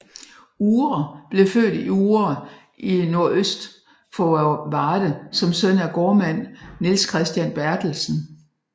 Uhre blev født i Uhre i nordøst for Varde som søn af gårdmand Niels Christian Berthelsen